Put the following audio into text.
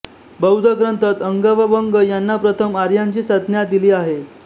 बौद्ध ग्रंथांत अंग व वंग यांना प्रथम आर्यांची संज्ञा दिली आहे